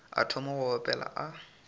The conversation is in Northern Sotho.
a thoma go opela a